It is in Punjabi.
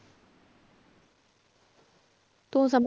ਤੂੰ ਸਮ~